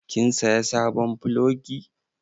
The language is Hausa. Kin saya sabon plogi?